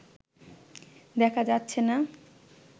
দেখা যাচ্ছেনা